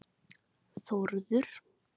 Þórður